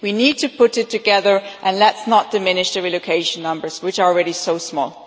We need to put it together, and let's not diminish the relocation numbers, which are already so small.